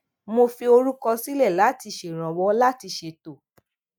mo fi orúkọ sílè láti ṣèrànwó láti ṣètò